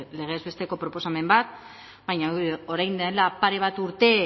legez besteko proposamen bat baina orain dela pare bat urte